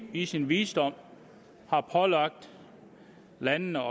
i sin visdom pålagt landene